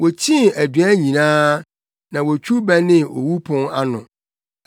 Wokyii aduan nyinaa na wotwiw bɛnee owu pon ano.